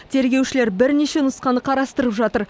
тергеушілер бірнеше нұсқаны қарастырып жатыр